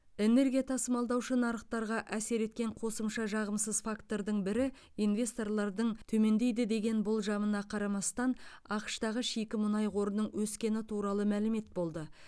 энергия тасымалдаушы нарықтарға әсер еткен қосымша жағымсыз фактордың бірі инвесторлардың төмендейді деген болжамына қарамастан ақш тағы шикі мұнай қорының өскені туралы мәлімет болды